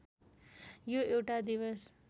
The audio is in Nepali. यो एउटा दिवस